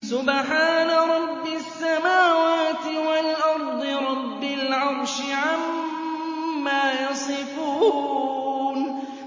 سُبْحَانَ رَبِّ السَّمَاوَاتِ وَالْأَرْضِ رَبِّ الْعَرْشِ عَمَّا يَصِفُونَ